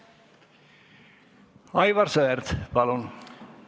Aivar Sõerd, palun!